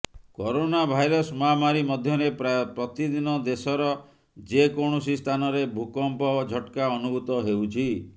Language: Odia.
କରୋନା ଭାଇରସ ମହାମାରୀ ମଧ୍ୟରେ ପ୍ରାୟ ପ୍ରତିଦିନ ଦେଶର ଯେକୌଣସି ସ୍ଥାନରେ ଭୂକମ୍ପ ଝଟକା ଅନୁଭୂତ ହେଉଛି